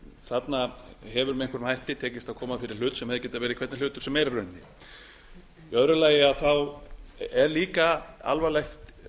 þarna hefur með einhverjum hætti tekist að koma fyrir hlut sem hefði getað verið hvernig hlutur sem er í rauninni í öðru lagi er líka alvarlegt að